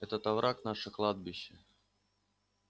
этот овраг наше кладбище